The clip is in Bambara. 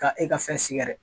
K' e ka fɛn siga dɛ?